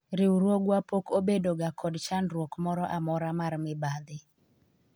riwruogwa pok obedo ga kod chandruok moro amora mar mibadhi